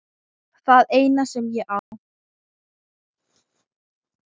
Það eina sem ég á.